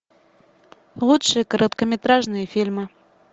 лучшие короткометражные фильмы